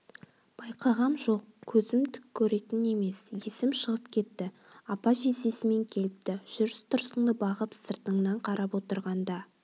байқағам жоқ көзім түк көретін емес есім шығып кетті апа-жездесімен келіпті жүріс-тұрысыңды бағып сыртыңнан қарап отырғанда